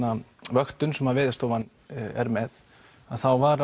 vöktun sem að Veðurstofan er með að þá var